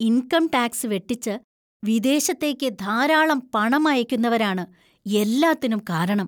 Income tax വെട്ടിച്ച് വിദേശത്തേക്ക് ധാരാളം പണം അയക്കുന്നവരാണ് എല്ലാത്തിനും കാരണം.